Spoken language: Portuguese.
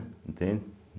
Entende?